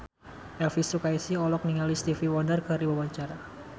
Elvi Sukaesih olohok ningali Stevie Wonder keur diwawancara